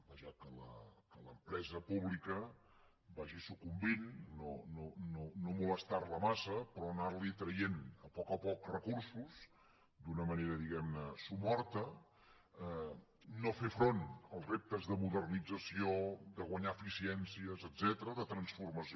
vaja que l’empresa pública vagi sucumbint no molestar la massa però anar li traient a poc a poc recursos d’una manera somorta no fer front als reptes de modernització de guanyar eficiències etcètera de transformació